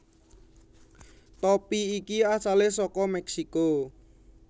Topi iki asale saka Meksiko